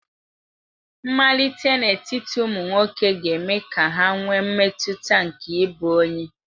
Mmalite n'etiti ụmụ nwoke ga-eme ka ha nwee mmetụta nke ịbụ onye.